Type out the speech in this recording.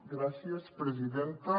gràcies presidenta